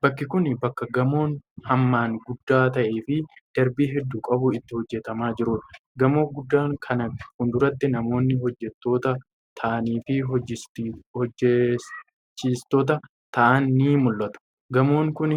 Bakki kun, bakka gamoon hammaan guddaa ta'ee fi darbii hedduu qabu itti hojjatamaa jirudha. Gamoo guddaa kana fuulduratti namoonni hojjattoota ta'anii fi hojjachiistota ta'an ni mul'atu. Gamoon kun,